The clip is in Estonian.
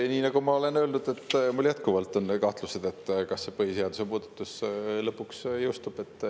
Nii nagu ma olen öelnud, mul jätkuvalt on kahtlus, kas see põhiseaduse muudatus lõpuks jõustub.